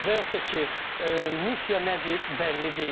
Və yaxud da ki, missiya nədir, bəlli deyil.